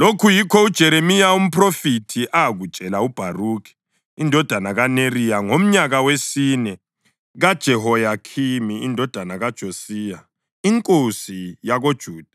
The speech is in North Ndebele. Lokhu yikho uJeremiya umphrofethi akutshela uBharukhi indodana kaNeriya ngomnyaka wesine kaJehoyakhimi indodana kaJosiya inkosi yakoJuda,